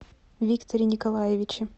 викторе николаевиче